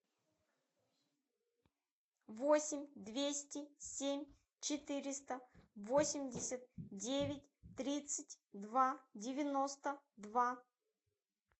восемь двести семь четыреста восемьдесят девять тридцать два девяносто два